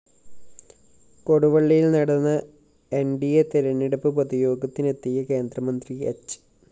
കൊടുവള്ളിയില്‍ നടന്ന N D A തെരഞ്ഞെടുപ്പ് പൊതുയോഗത്തിനെത്തിയ കേന്ദ്രമന്ത്രി ഹ്‌